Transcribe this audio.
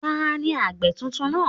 Taàní àgbẹ̀ tuntun náà?